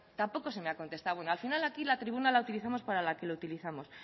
tampoco se me ha contestado bueno al final aquí la tribuna la utilizamos para la que lo utilizamos